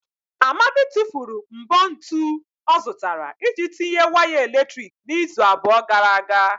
Amadi tụfuru mbọ ntu ọ zụtara iji tinye waya eletrik n'izu abụọ gara aga.